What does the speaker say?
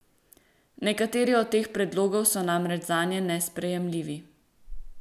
Nekateri od teh predlogov so namreč zanje nesprejemljivi.